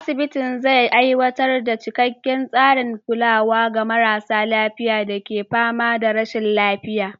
Asibitin zai aiwatar da cikakken tsarin kulawa ga marasa lafiya da ke fama da rashin lafiya.